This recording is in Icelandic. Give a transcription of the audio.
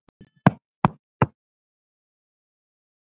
spyrjið þið í hljóði.